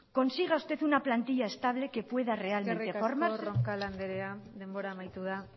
consiga usted una plantilla estable que pueda realmente formarse eskerrik asko roncal andrea denbora amaitu da